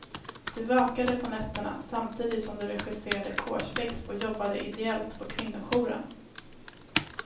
Du vakade på nätterna, samtidigt som du regisserade kårspex och jobbade ideellt på kvinnojouren.